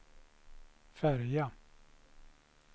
färja